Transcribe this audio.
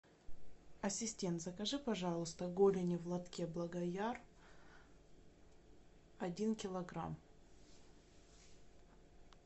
ассистент закажи пожалуйста голени в лотке благояр один килограмм